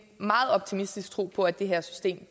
meget optimistisk tro på at det her system